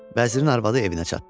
Vəzirin arvadı evinə çatdı.